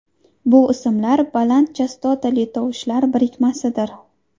Bu ismlar baland chastotali tovushlar birikmasidir.